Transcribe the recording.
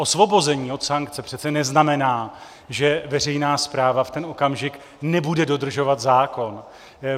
Osvobození od sankce přece neznamená, že veřejná správa v ten okamžik nebude dodržovat zákon.